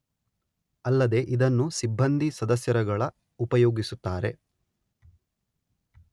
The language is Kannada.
ಅಲ್ಲದೇ ಇದನ್ನು ಸಿಬ್ಬಂದಿ ಸದಸ್ಯರುಗಳ ಉಪಯೋಗಿಸುತ್ತಾರೆ